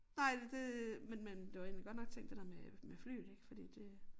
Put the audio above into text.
Nej det det men men det var egentlig godt nok tænkt det der med med flyet ik fordi det